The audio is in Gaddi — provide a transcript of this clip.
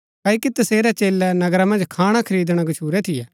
क्ओकि तसेरै चेलै नगरा मन्ज खाणा खरीदणा गच्छुरै थियै